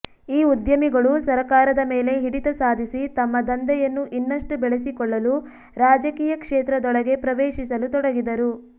ಈ ಉದ್ಯಮಿಗಳು ಸರಕಾರದ ಮೇಲೆ ಹಿಡಿತ ಸಾಧಿಸಿ ತಮ್ಮ ದಂಧೆಯನ್ನು ಇನ್ನಷ್ಟು ಬೆಳೆಸಿಕೊಳ್ಳಲು ರಾಜಕೀಯ ಕ್ಷೇತ್ರದೊಳಗೆ ಪ್ರವೇಶಿಸಲು ತೊಡಗಿದರು